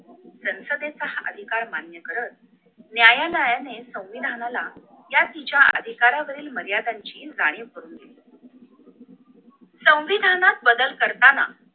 संसदेचा अधिकार मान्य करत न्यायालयाने संविधानाला या तिच्या अधिकारावरील मर्यादांची जाणीव करून दिली संविधानात बदल करताना